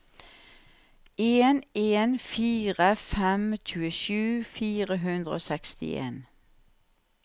en en fire fem tjuesju fire hundre og sekstien